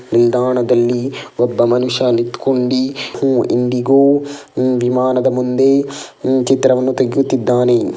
ನಿಲ್ದಾಣದಲ್ಲಿ ಒಬ್ಬ ಮನುಷ್ಯ ನಿತ್ಕೊಂಡಿ ಉಹ್ ಇಂಡಿಗೋ ಉಹ್ ವಿಮಾನದ ಮುಂದೆ ಉಹ್ ಚಿತ್ರವನ್ನು ತೆಗೆಯುತ್ತಿದ್ದಾನೆ.